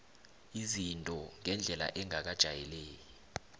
izinto ngendlela engakajayeleki